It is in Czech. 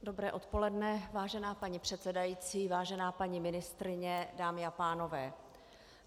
Dobré odpoledne vážená paní předsedající, vážená paní ministryně, dámy a pánové.